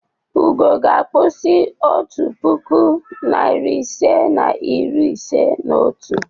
Ugo ga-akpụzi otu puku, narị ise na iri ise na otu.